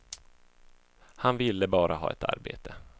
Han ville bara ha ett arbete.